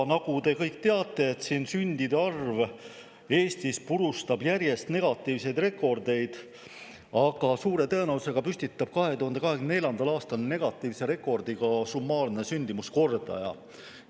Nagu te kõik teate, purustab sündide arv Eestis järjest negatiivseid rekordeid, aga suure tõenäosusega püstitab 2024. aastal negatiivse rekordi ka summaarne sündimuskordaja.